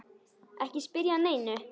Ekki spyrja að neinu!